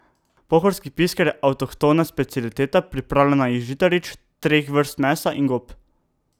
Pohorski pisker je avtohtona specialiteta, pripravljena iz žitaric, treh vrst mesa in gob.